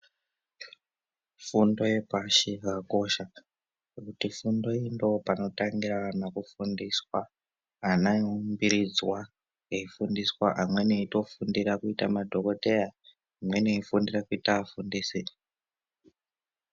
Fundo yepashi yakakosha ngokuti fundo iyi ndopanotangira ana kufundiswa , ana eiumbiridzwa, eifundiswa, amweni eitofundira kuita madhokodheya, amweni veifundira kuita afundisi